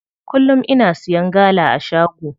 Kullum ina siya gala a shago.